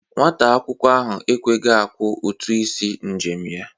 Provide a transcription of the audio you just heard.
Nwata akwụkwọ ahụ ekweghi akwọ ụtụ isi njem ya.